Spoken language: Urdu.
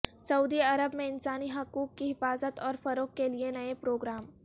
سعودی عرب میں انسانی حقوق کی حفاظت اور فروغ کے لیے نئے پروگرام